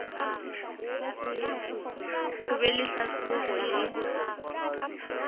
ho be le hlahlobo le